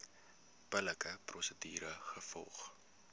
billike prosedure gevolg